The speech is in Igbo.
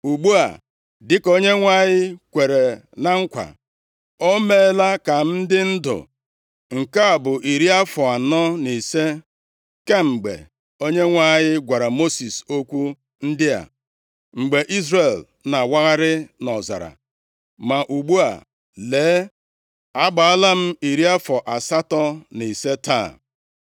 “Ugbu a, dịka Onyenwe anyị kwere na nkwa, o meela ka m dị ndụ. Nke a bụ iri afọ anọ na ise kemgbe Onyenwe anyị gwara Mosis okwu ndị a, mgbe Izrel na-awagharị nʼọzara. Ma ugbu a, lee, agbaala m iri afọ asatọ na ise taa.